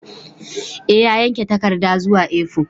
E, ya yanke takarda zuwa A4